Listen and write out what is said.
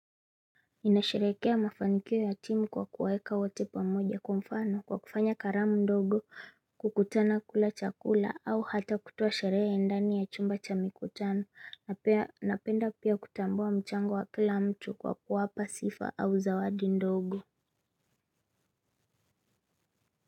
Ninasherehekea mafanikio ya timu kwa kuwaeka wote pamoja. Kwa mfano kwa kufanya karamu ndogo, kukutana kula chakula au hata kutoa sherehe ndani ya chumba cha mikutano. Napenda pia kutambua mchango wa kila mtu kwa kuwapa sifa au zawadi ndogo.